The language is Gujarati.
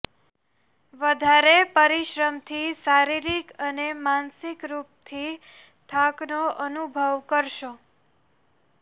વધારે પરિશ્રમથી શારીરિક અને માનસિક રૂપથી થાકનો અનુભવ કરશો